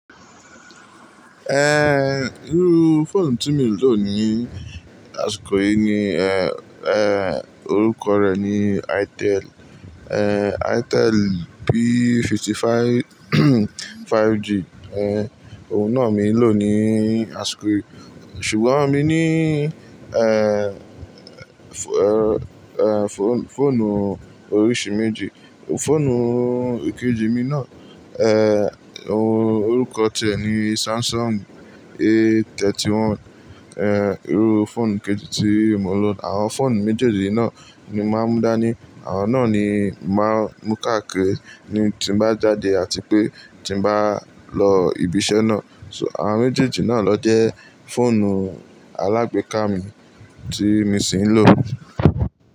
Ehn, irú fóònù tí mo lò ní àsìkò yìí ni, eh, eh, orúkọ rẹ̀ ni Itel, eh, Itel P55 5G. Eh, òun náà mi lò ní àsìkò yìí. Ṣùgbọ́n mi ní, eh, eh, fón-fóònù oríṣi méjì. Fóònù kejì mi náà, eh, orúkọ rẹ̀ ni Samsung A31. Eh, irú fóònù kejì tí mo lò. Àwọn fóònù méjèèjì náà ni màá mú dá ní, àwọn náà ni màá mú káàkiri ní tí bá jáde àti pé tí bá lọ ibiṣẹ́ náà. So, àwọn méjèèjì náà ló jẹ́ fóònù alágbèéká mi tí mo sì ń lò.